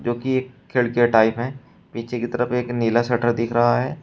जो की एक खिड़कियां टाइप हैं नीचे की तरफ एक नीला शटर दिख रहा है।